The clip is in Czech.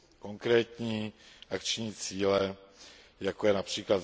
konkrétní akční cíle, jako je např.